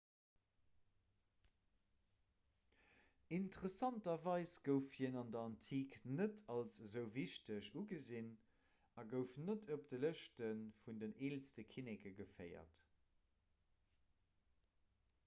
interessanterweis gouf hien an der antik net als esou wichteg ugesinn a gouf net op de lëschte vun den eelste kinneke geféiert